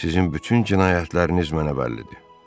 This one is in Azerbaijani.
Sizin bütün cinayətləriniz mənə bəllidir.